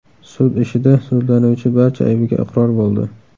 Sud ishida sudlanuvchi barcha aybiga iqror bo‘ldi.